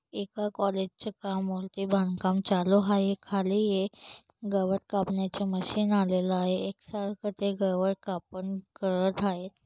एका कॉलेजच्या बांधकाम चालू आहे खाली एक गवत कापण्याच मशीन आलेल आहे एक सारख ते गवत कापण करत आहे.